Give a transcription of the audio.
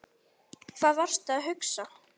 Hvað varstu að hugsa?